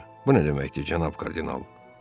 Bu nə deməkdir, canab kardinal?